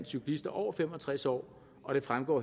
cyklister over fem og tres år og det fremgår